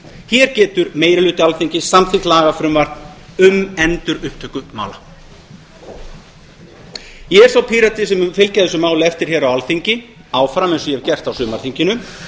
hér getur meiri hluti alþingis samþykkt lagafrumvarp um endurupptöku mála ég er sá pírati sem mun fylgja þessu máli eftir hér á alþingi áfram eins og ég hef gert á sumarþinginu